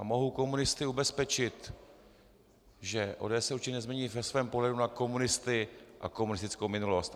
A mohu komunisty ubezpečit, že ODS se určitě nezmění ve svém pohledu na komunisty a komunistickou minulost.